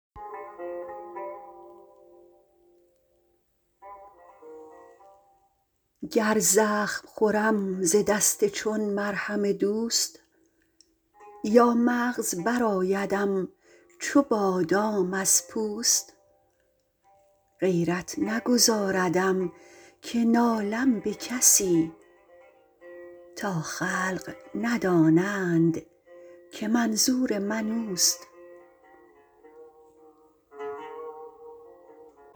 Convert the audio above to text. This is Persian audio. گر زخم خورم ز دست چون مرهم دوست یا مغز برآیدم چو بادام از پوست غیرت نگذاردم که نالم به کسی تا خلق ندانند که منظور من اوست